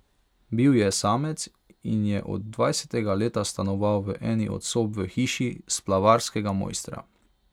Bil je samec in je od dvajsetega leta stanoval v eni od sob v hiši splavarskega mojstra.